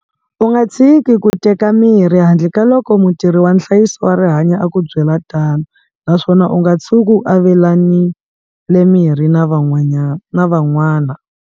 U nga tshiki ku teka mirhi handle ka loko mutirhi wa nhlayiso wa rihanyo a ku byela tano naswona u nga tshuki u avelanile mirhi na van'wana.